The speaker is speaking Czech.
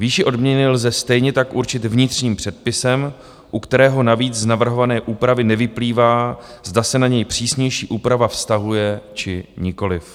Výši odměny lze stejně tak určit vnitřním předpisem, u kterého navíc z navrhované úpravy nevyplývá, zda se na něj přísnější úprava vztahuje, či nikoliv.